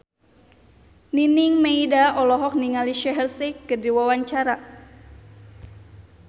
Nining Meida olohok ningali Shaheer Sheikh keur diwawancara